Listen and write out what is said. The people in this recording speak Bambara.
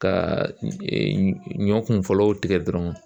Ka ɲɔ kun fɔlɔw tigɛ dɔrɔn